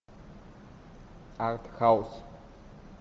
артхаус